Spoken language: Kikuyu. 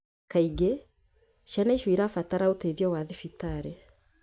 Kaingĩ, ciana icio nĩ irabatara ũteithio wa thibitarĩ